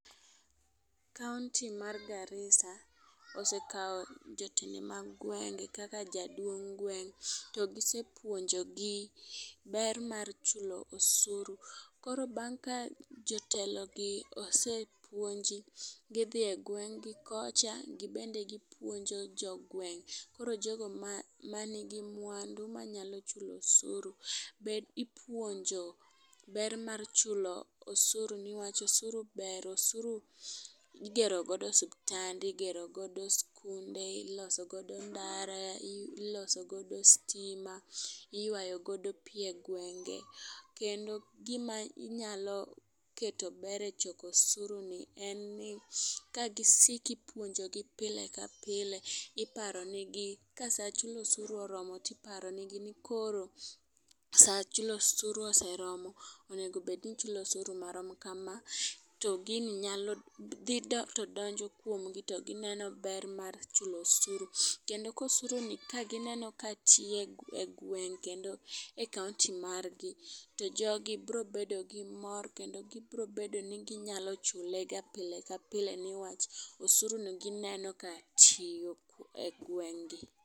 Kaunti mar Garisa osekawo jotende mag gwenge kaka jaduong gweng' to gisepuonjo gi ber mar chulo osuru .Koro bang' ka jotelo gi osepuonji, gidhi e gweng' gi kocha gibende gipuonjo jogweng' .Koro jogo ma manigi mwandu manyalo chulo osuru be ipuonjo ber mar chulo osuru newach, osuru ber osuru igero godo osuptande ,igero godo skunde, iloso godo ndara, iloso godo stima ,iywayo godo pii e gwenge. Kendo gima inyalo keto ber e choko osuru ni en ni ka gisiki puonjo gi pile ka pile iparo ne gi ka saa chulo osuru oromo tiparo ne gi ni koro saa chulo osuru oseromo onego bed ni ichulo osuru marom kama. To gini nyalo dhi to donjo kuom gi to gineno ber mar chulo osuru, kendo kosuru ni kagineno ka tiyo e gweng kendo e kaunti mar gi to jogi bro bedo gi mor kendo gibro bedo ni ginyalo chule ga pile ka pile newach osuru ni gineno ka tiyo e gweng' gi.